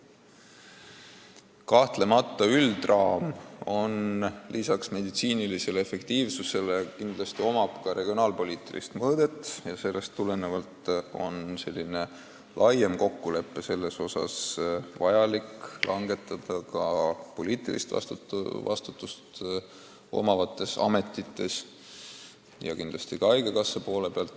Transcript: Kahtlemata üldine raam hõlmab lisaks meditsiinilisele efektiivsusele kindlasti ka regionaalpoliitilist mõõdet ja sellest tulenevalt peab otsuseid laiema kokkuleppe kohta langetama ka poliitilist vastutust tähendavates ametites ja seda kindlasti ka haigekassat silmas pidades.